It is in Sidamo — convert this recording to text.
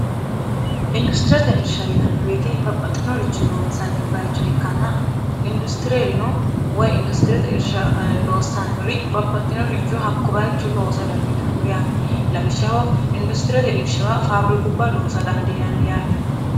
industiriyate irsha inanni beete babbaxxinorichu loonsanni bayicho ikkanna industireerino woy industiriyete irsha loossannori babbaxxinoricho hakko bayicho loosa dandiitanno yaate lawishshaho industiriyate irshewa faabiri kubba loosa dandiinanni yaate